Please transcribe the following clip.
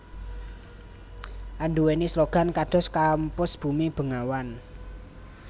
anduwèni slogan kados Kampus Bumi Bengawan